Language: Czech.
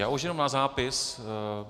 Já už jenom na zápis.